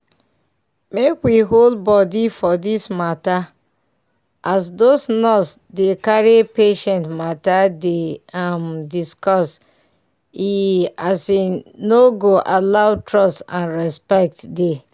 make we hold body for dis matter as those nurse dey carry patient matter dey um discuss e um no go allow trust and respect dey.